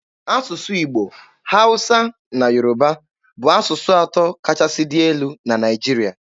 Asụsụ Igbo, Hausa na Yoruba bụ asụsụ atọ kachasị dị elu n'ala Naịjirịa.